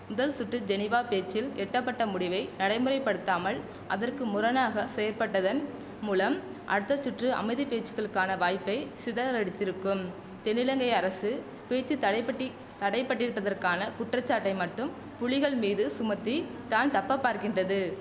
முதல் சுற்று ஜெனிவா பேச்சில் எட்டப்பட்ட முடிவை நடைமுறைப்படுத்தாமல் அதற்கு முரணாக செயற்பட்டதன் மூலம் அடுத்த சுற்று அமைதி பேச்சுகளுக்கான வாய்ப்பை சிதறடித்திருக்கும் தென்னிலங்கை அரசு பேச்சு தடைப்பட்டி தடைபட்டிருப்பதற்கான குற்றச்சாட்டை மட்டும் புலிகள் மீது சுமத்தி தான் தப்ப பார்க்கின்றது